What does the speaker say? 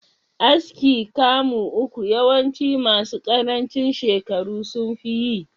Aski kamu uku yawanci masu karancin shekaru sunfi yi.